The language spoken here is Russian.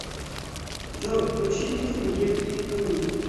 джой включи песню гив ит ту ми